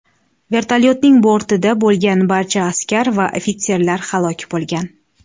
Vertolyotning bortida bo‘lgan barcha askar va ofitserlar halok bo‘lgan.